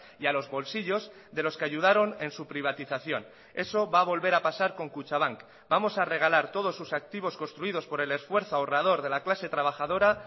y a los bolsillos de los que ayudaron en su privatización eso va a volver a pasar con kutxabank vamos a regalar todos sus activos construidos por el esfuerzo ahorrador de la clase trabajadora